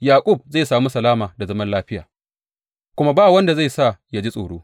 Yaƙub zai sami salama da zaman lafiya, kuma ba wanda zai sa ya ji tsoro.